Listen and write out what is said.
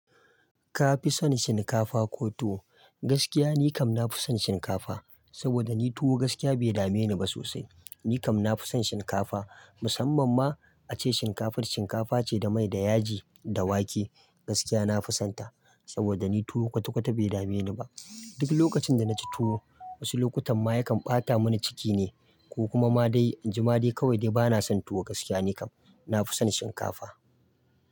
Ka fi son shinkafa ko tuwo? Gaskiya ni kam na fi son shinkafa, saboda ni tuwo gaskiya bai dame ni ba sosai. Ni kam na fi son shinkafa, musamman ma a ce shinkafar shinkafa ce da mai da yaji da wake. Gaskiya na fi son ta, saboda ni tuwo kwata-kwata bai dame ni ba. Duk lokacin da na ci tuwo, wasu lokutan ma yakan ɓata mani ciki ne, ko kuma ma dai, in ji ma dai kawai dai bana son tuwo gaskiya ni kam. Na fi son shinkafa.